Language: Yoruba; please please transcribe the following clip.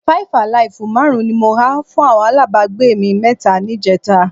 Five-alive márùn-ún ni mo ha fún àwọn alábàágbé mi mẹ́ta níjẹta